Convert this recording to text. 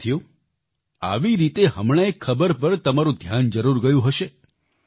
સાથીઓ આવી રીતે હમણાં એક ખબર પર તમારું ધ્યાન જરૂર ગયું હશે